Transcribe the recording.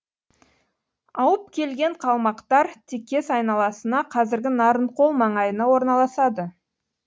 ауып келген қалмақтар текес айналасына қазіргі нарынқол маңайына орналасады